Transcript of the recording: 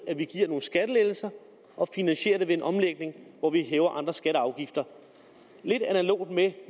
at vi giver nogle skattelettelser og finansierer dem ved en omlægning hvor vi hæver andre skatter og afgifter er lidt analoge med